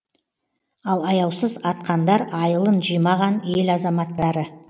ал аяусыз атқандар айылын жимаған ел азаматтары